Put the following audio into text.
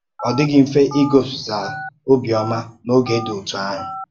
Ọ dịghị mfe igosipụta ọ̀bịọ́mà n’oge dị otú ahụ.